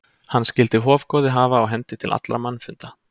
Hann skyldi hofgoði hafa á hendi til allra mannfunda.